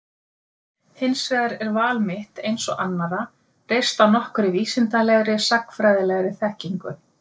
Hins vegar er val mitt, eins og annarra, reist á nokkurri vísindalegri, sagnfræðilegri, þekkingu.